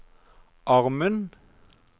armen